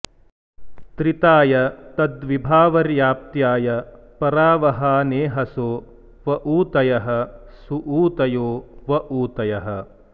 त्रि॒ताय॒ तद्वि॑भावर्या॒प्त्याय॒ परा॑ वहाने॒हसो॑ व ऊ॒तयः॑ सुऊ॒तयो॑ व ऊ॒तयः॑